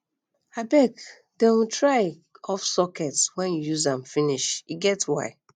abeg dey um try off socket wen you use am finish e get why